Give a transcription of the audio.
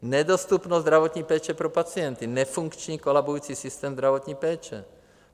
Nedostupnost zdravotní péče pro pacienty, nefunkční kolabující systém zdravotní péče.